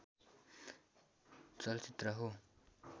चलचित्र हो